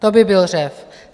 To by byl řev!